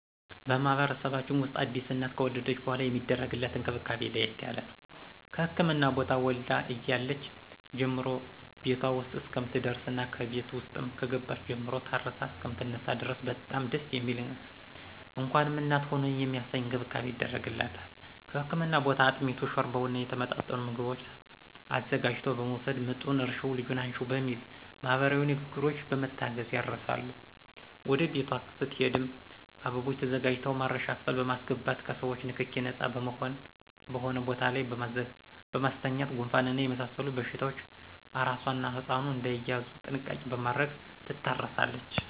በማህበረሰባችን ውስጥ አዲስ እናት ከወለደች በሗላ የሚደረግላት እንክብካቤ ለየት ያለ ነው። ከህክምና ቦታ ወልዳ እያለች ጀምሮ ቤቷ ውስጥ እስከምትደርስና ከቤት ውስጥም ከገባች ጀምሮ ታርሳ እሰከምትነሳ ድረስ በጣም ደስ የሚል እንኳንም እናት ሆንሁ የሚያሰኝ እንክብካቤ ይደረግላታል ከህክምና ቦታ አጥሚቱን: ሾርባውና የተመጣጠኑ ምግቦችን አዘጋጅቶ በመወሰድ ምጡን እርሽው ልጁን አንሽው በሚል ማህበረሰባዊ ንግግሮች በመታገዝ ያርሳሉ ወደ ቤቷ ስትሄድም አበባዎች ተዘጋጅተው ማረሻ ክፍል በማሰገባት ከሰዎቾ ንክኪ ነጻ በሆነ ቦታ ላይ በማስተኛት ጉንፋንና የመሳሰሉት በሽታዎች አራሷና ህጻኑ እዳይያዙ ጥንቃቄ በማድረግ ትታረሳለች።